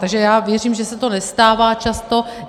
Takže já věřím, že se to nestává často.